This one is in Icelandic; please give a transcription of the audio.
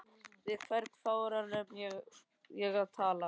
Við hvern í fjáranum á ég að tala?